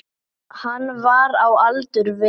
Hann var á aldur við